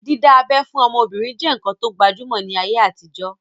Dídá abẹ́ fún ọmọbìnrin je nkán to gbajúmọ̀ ní ayé àtijọ́